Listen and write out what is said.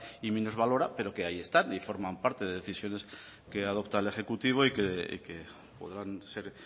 y minusvalora pero que ahí están y forman parte de decisiones que adopta el ejecutivo y que podrán ser